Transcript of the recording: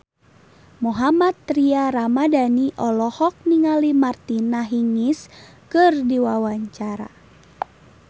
Mohammad Tria Ramadhani olohok ningali Martina Hingis keur diwawancara